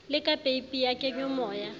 le ka peipi ya kenyomoya